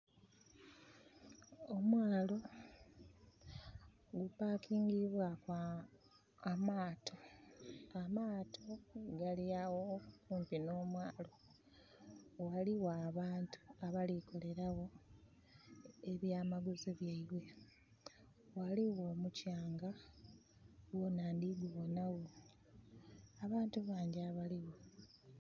Omwaalo gupakingibwaku amaato. Amaato gali agho okumpi nho mwaalo, waligho abantu abali kukolera gho ebyamaguzi byaibwe, ghaligho omukyanga gwonha ndi gubonha gho. Abantu bangi abaligho